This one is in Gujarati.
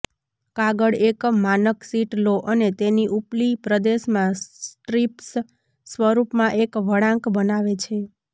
કાગળ એક માનક શીટ લો અને તેની ઉપલી પ્રદેશમાં સ્ટ્રિપ્સ સ્વરૂપમાં એક વળાંક બનાવે છે